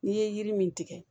N'i ye yiri min tigɛ